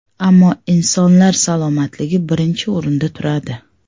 Ammo insonlar salomatligi birinchi o‘rinda turadi.